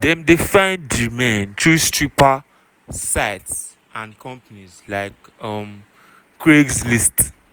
dem dey find di men through stripper companies and sites like um craigslist.